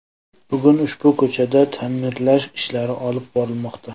Bugun ushbu ko‘chada ta’mirlash ishlari olib borilmoqda.